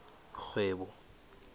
kgwebo